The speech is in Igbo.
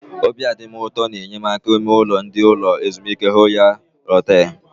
Obi a dị gị ụtọ na enyemaka ime ụlọ ndị ụlọ ezumike Họtel Royal?